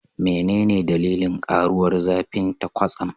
Menene dalilin karuwar zafinta kwatsam?